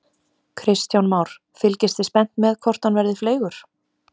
Kristján Már: Fylgist þið spennt með hvort hann verði fleygur?